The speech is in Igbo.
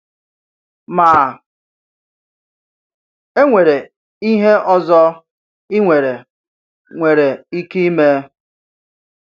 Ma, e nwere ihe ọzọ ị nwere nwere ike ime.